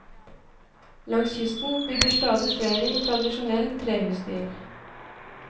Langs kysten bygger stadig flere i tradisjonell trehusstil.